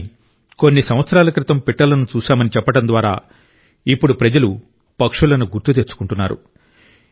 కానీ కొన్ని సంవత్సరాల క్రితం పిట్టలను చూశామని చెప్పడం ద్వారా ఇప్పుడు ప్రజలు పక్షులను గుర్తు తెచ్చుకుంటారు